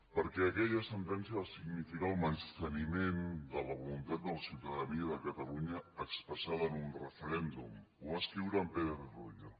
perquè aquella sentència va significar el menysteniment de la voluntat de la ciutadania de catalunya expressada en un referèndum ho va escriure en pérez royo